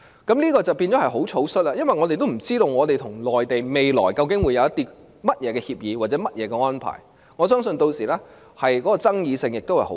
這樣做便會很草率，因為我們不知道香港與內地未來究竟會有甚麼協議或安排，我相信屆時的爭議性亦很大。